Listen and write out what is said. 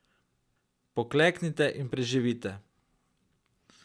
Pokleknite in preživite.